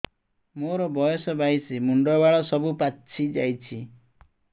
ମୋର ବୟସ ବାଇଶି ମୁଣ୍ଡ ବାଳ ସବୁ ପାଛି ଯାଉଛି